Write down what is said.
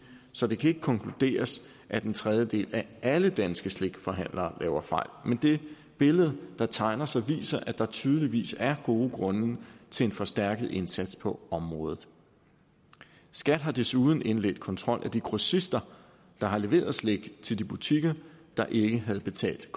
så det kan ikke konkluderes at en tredjedel af alle danske slikforhandlere laver fejl men det billede der tegner sig viser at der tydeligvis er gode grunde til en forstærket indsats på området skat har desuden indledt kontrol af de grossister der har leveret slik til de butikker der ikke havde betalt